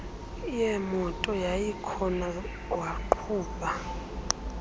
yeemoto yayikhona waqhuba